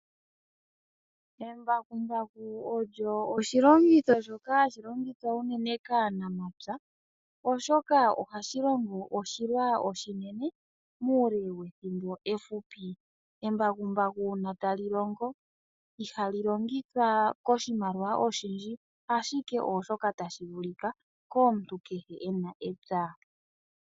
Embakumbaku olyo oshilongitho shoka hashi longithwa unene kaanamapya oshoka ohashi longo oshilwa oshinene muule wethimbo efupi. Embakumbaku uuna tali longo ihali longithwa koshimaliwa oshindji ashike osho shoka tashi vulika komuntu kehe ena epya.